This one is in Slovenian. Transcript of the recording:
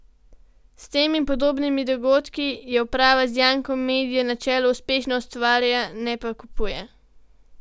S tem in podobnimi dogodki jo uprava z Jankom Medjo na čelu uspešno ustvarja, ne pa kupuje.